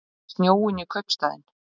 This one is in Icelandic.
Með snjóinn í kaupstaðinn